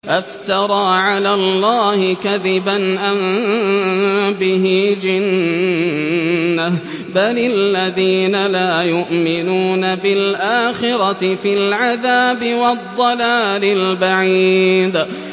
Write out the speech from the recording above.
أَفْتَرَىٰ عَلَى اللَّهِ كَذِبًا أَم بِهِ جِنَّةٌ ۗ بَلِ الَّذِينَ لَا يُؤْمِنُونَ بِالْآخِرَةِ فِي الْعَذَابِ وَالضَّلَالِ الْبَعِيدِ